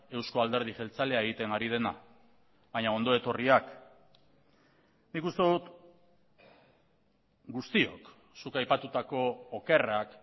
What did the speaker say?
euzko alderdi jeltzalea egiten ari dena baina ondo etorriak nik uste dut guztiok zuk aipatutako okerrak